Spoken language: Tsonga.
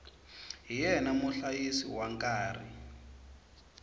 hi yena muhlayisi wa nkarhi